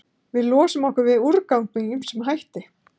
Við losum okkur við úrgang með ýmsum hætti.